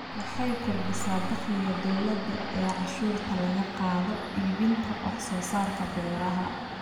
Waxay kordhisaa dakhliga dawladda ee cashuurta laga qaado iibinta wax soo saarka beeraha.